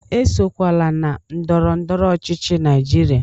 Esokwala na ndọrọ ndọrọ ọchịchị Naijiria!